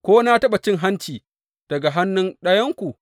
Ko na taɓa cin hanci daga hannun ɗayanku?